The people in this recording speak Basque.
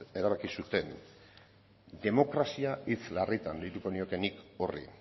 erabaki zuten demokrazia hitz larritan deituko nioke nik horri